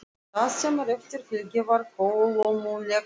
Það sem á eftir fylgdi var kolómögulegt lið.